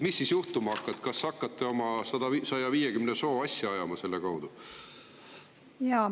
Mis siis juhtuma hakkab, kas hakkate oma 150 soo asja ajama selle kaudu?